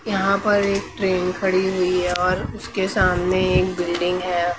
यहाँ पर एक ट्रेन खड़ी हुई है और उसके सामने एक बिल्डिंग है।